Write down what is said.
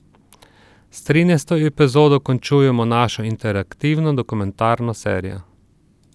S trinajsto epizodo končujemo našo interaktivno dokumentarno serijo.